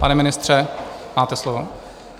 Pane ministře, máte slovo.